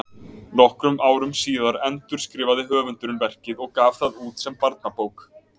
Nokkrum árum síðar endurskrifaði höfundurinn verkið og gaf það út sem barnabók.